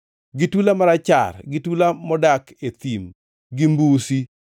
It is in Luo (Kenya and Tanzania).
gi tula marachar gi tula modak e thim gi mbusi,